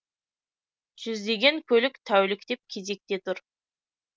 жүздеген көлік тәуліктеп кезекте тұр